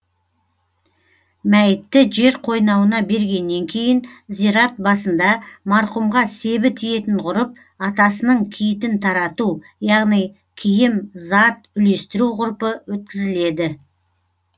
мәйітті жер қойнауына бергеннен кейін зират басында марқұмға себі тиетін ғұрып атасының киітін тарату яғни киім зат үлестіру ғұрпы өткізіледі